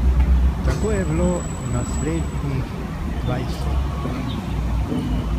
Tako je bilo naslednjih dvajset dni.